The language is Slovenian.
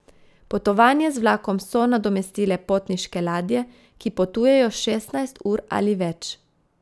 Potovanje z vlakom so nadomestile potniške ladje, ki potujejo šestnajst ur ali več.